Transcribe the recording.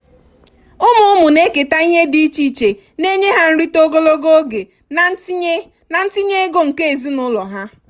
ụmụ ụmụ na-eketa ihe dị iche iche na-enye ha nrite ogologo oge na ntinye na ntinye ego nke ezinụlọ ha.